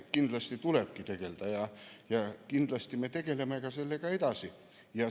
Kindlasti tulebki tegelda, ja kindlasti me tegeleme sellega edasi.